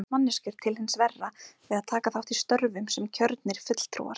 Breytast manneskjur til hins verra við að taka þátt í störfum sem kjörnir fulltrúar?